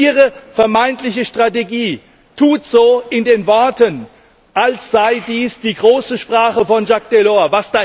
Ihre vermeintliche Strategie tut so in den Worten, als sei dies die große Sprache von Jaques Delors.